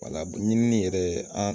ɲinini yɛrɛ ye an